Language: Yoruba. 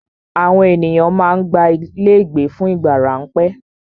Àwọn ènìyàn má ń gba ilé ìgbé fún ìgbà ráńpẹ́.